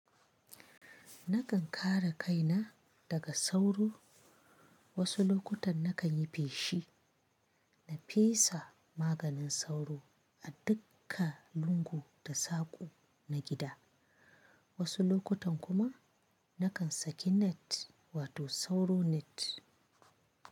Nakan kare kaina daga sauro. Wasu lokutan nakan yi feshi, na fesa maganin sauro a duka lungu da sako na gida. Wasu lokutan kuma nakan saki net wato sauro net.